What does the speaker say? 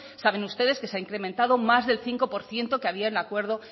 saben ustedes que se ha incrementado más del cinco por ciento que había en el acuerdo